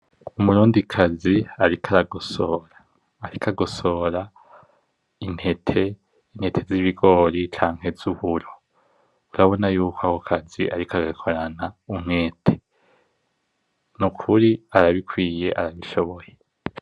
Umurindikazi ariko aragosora intete z'ibigori canke z'uburo , urabona yuko ako kazi ariko agakorana umwete , nukuri arabikwiye arabishoboye.